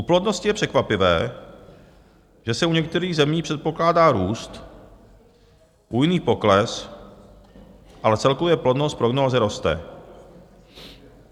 U plodnosti je překvapivé, že se u některých zemí předpokládá růst, u jiných pokles, ale celkově plodnost prognózy roste.